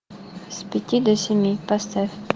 с пяти до семи поставь